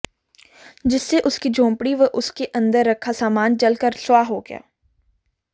जिससे उसकी झोपड़ी व उसके अंदर रखा सामान जल कर स्वाह हो गया